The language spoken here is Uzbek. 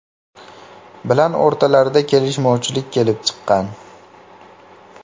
bilan o‘rtalarida kelishmovchilik kelib chiqqan.